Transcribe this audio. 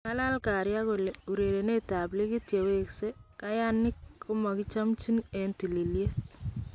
Kakalaan Karia kole urerenetab likit yeweskee , kayaanik komakichamchin en tililiet .